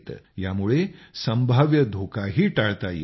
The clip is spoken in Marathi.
यामुळे संभाव्य धोकाही टाळता येतो